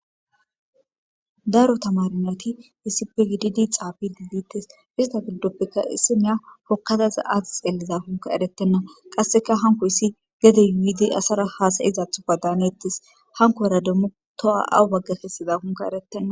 Daro tamarinati isipe gididi xaabi gidittes ista giddoppeka issimeya hokkataza aati xeelliza hunka erettenna qasseka hanko issi gedey yiidi asara haasayizathupa daanettes hanko era demmu toa awu bagga kessiza hunka erettenna.